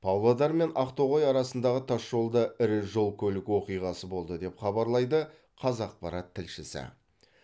павлодар мен ақтоғай арасындағы тасжолда ірі жол көлік оқиғасы болды деп хабарлайды қазақпарат тілшісі